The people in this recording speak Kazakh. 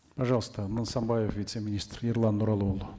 пожалуйста нысанбаев вице министр ерлан нұралыұлы